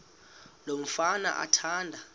lo mfana athanda